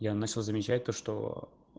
я начал замечать то что